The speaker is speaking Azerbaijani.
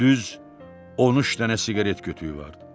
Düz 13 dənə siqaret kötüüyü vardı.